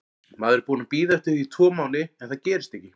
Maður er búinn að bíða eftir því tvo mánuði en það gerist ekki.